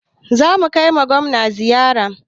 Za mu kai ma Gwamna ziyara.